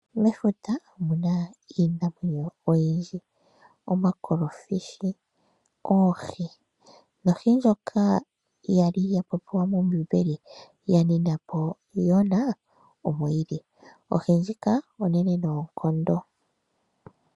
Mefuta omuna iinamwenyo oyindji, omuna omakolofishi, oohi nohi ndjoka yali ya popiwa mombiimbeli ya nina po Joona omo yili, ohi ndjika onene noonkondo.